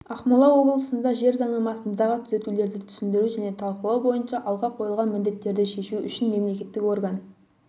ақмола облысында жер заңнамасындағы түзетулерді түсіндіру және талқылау бойынша алға қойылған міндеттерді шешу үшін мемлекеттік орган